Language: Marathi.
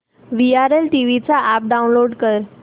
वीआरएल ट्रॅवल्स चा अॅप डाऊनलोड कर